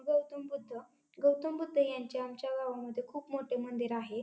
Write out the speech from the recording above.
गौतम बुद्ध गौतम बुद्ध यांचे यांच्या गावामध्ये खूप मोठे मंदिर आहे.